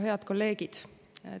Head kolleegid!